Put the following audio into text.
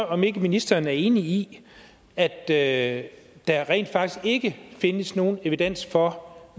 om ikke ministeren er enig i at at der rent faktisk ikke findes nogen evidens for